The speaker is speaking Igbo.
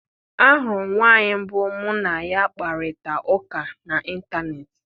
Ahụrụ m nwaanyị mbụ mụ na ya kparịta ụka n’Ịntanet.